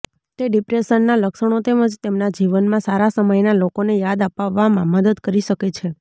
તે ડિપ્રેશનના લક્ષણો તેમજ તેમના જીવનમાં સારા સમયના લોકોને યાદ અપાવવામાં મદદ કરી શકે છે